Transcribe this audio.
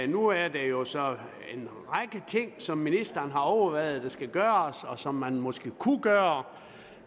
nu er der jo så en række ting som ministeren har overvejet at gøre og som man måske kunne gøre